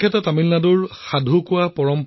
যোৱা ৪০ বছৰ ধৰি তেওঁ এই অভিযানত নিয়োজিত হৈ আছে